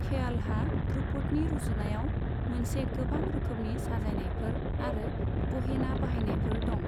ख्यालहा ध्रुपदनि रुजुनायाव मोनसे गोबां रोखोमनि साजायनायफोर आरो गहेना बाहायनायफोर दं।